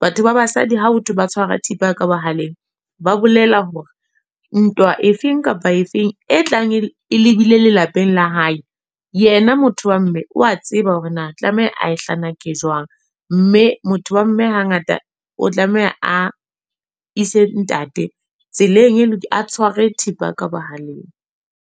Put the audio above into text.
Batho ba basadi ha botho ba tshwara thipa ka bohaleng, ba bolela hore ntwa e feng kapa efeng e tlang e lebile lelapeng la hae. Yena motho wa mme, wa tseba hore na tlameha a e hlanake jwang. Mme motho wa mme hangata o tlameha a ise ntate, tseleng e a tshware thipa ka bohaleng.